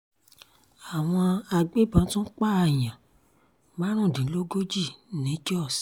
àwọn agbébọn tún pààyàn márùndínlógójì ní jóṣ